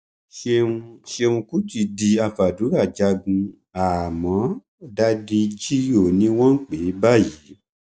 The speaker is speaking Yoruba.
lẹyìn tí salaudeen parí ìjà fún tọkọtìyàwó tán tó ń lọ sílé ló kù sínú kòtò tó já sí